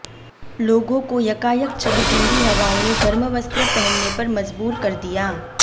लोगों को यकायक चली ठंडी हवाओं ने गर्म वस्त्र पहनने पर मजबूर कर दिया